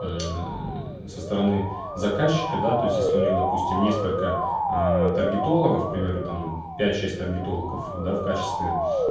мм со стороны заказчика да те есть если у него допустим несколько аа таргетолога к примеру там пять шесть таргетингов да в качестве